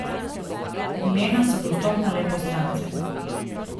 Imena so dostopna le poslancem.